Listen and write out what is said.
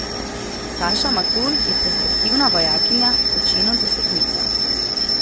Saša Matul je perspektivna vojakinja, po činu desetnica.